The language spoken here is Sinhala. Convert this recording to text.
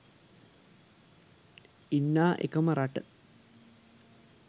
ඉන්නා එකම රට